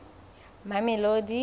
mamelodi